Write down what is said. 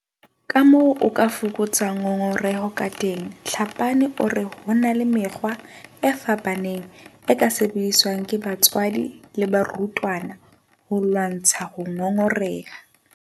Kamoo o ka fokotsang ngongoreho kateng Tlhapane o re ho na le mekgwa e fapaneng e ka sebediswang ke batswadi le barutwana ho lwantsha ho ngongoreha.